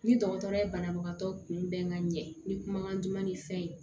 Ni dɔgɔtɔrɔ ye banabagatɔ kunbɛn ka ɲɛ ni kumakan duman ni fɛn ye